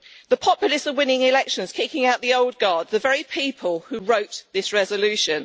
The populists are winning elections, kicking out the old guard, the very people who wrote this resolution.